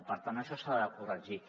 i per tant això s’ha de corregir